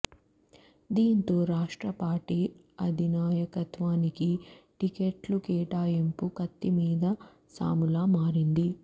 దీంతో రాష్ట్ర పార్టీ అధినాయకత్వానికి టికెట్ల కేటాయింపు కత్తిమీద సాములా మారింది